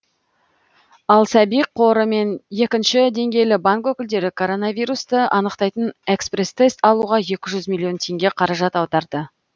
ал сәби қоры мен екінші деңгейлі банк өкілдері коронавирусті анықтайтын экспресс тест алуға екі жүз миллион теңге қаражат аударды